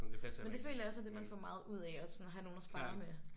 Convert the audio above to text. Men det føler jeg også er det man får meget ud af at sådan have nogen at sparre med